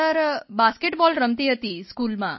basketball રમતી હતી સ્કૂલમાં